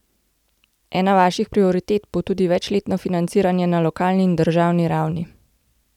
Ena vaših prioritet bo tudi večletno financiranje na lokalni in državni ravni.